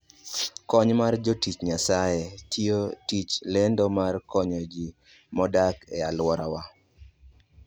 Kony mar Jotich Nyasaye: Tiyo tij lendo mar konyo ji modak e alworawa.